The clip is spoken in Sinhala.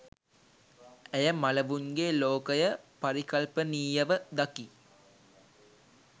ඇය මළවුන්ගේ ලෝකය පරිකල්පනීයව දකි